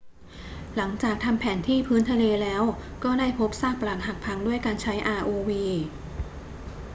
หลังจากทำแผนที่พื้นทะเลแล้วก็ได้พบซากปรักหักพังด้วยการใช้ rov